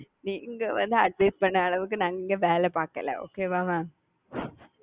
நீங்க வந்து adjust பண்ண அளவுக்கு நாங்க இங்க வேல பாக்கல okay வா மா?